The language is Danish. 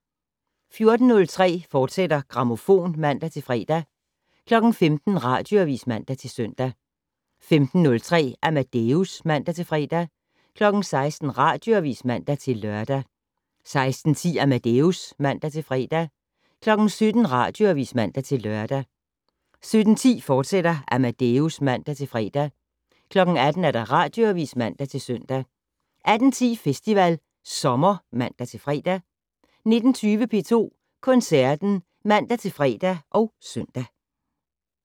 14:03: Grammofon, fortsat (man-fre) 15:00: Radioavis (man-søn) 15:03: Amadeus (man-fre) 16:00: Radioavis (man-lør) 16:10: Amadeus (man-fre) 17:00: Radioavis (man-lør) 17:10: Amadeus, fortsat (man-fre) 18:00: Radioavis (man-søn) 18:10: Festival Sommer (man-fre) 19:20: P2 Koncerten (man-fre og søn)